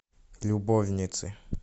любовницы